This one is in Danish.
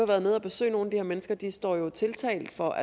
været nede og besøge nogle af mennesker de står tiltalt for